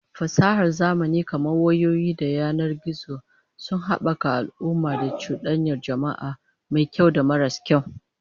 Fasahar zamani kamar wayoyi da yanar gizo sun habaka al'amurra na cudanyar jama'a, mai kyau da maras kyau